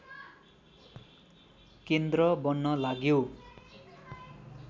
केन्द्र बन्न लाग्यो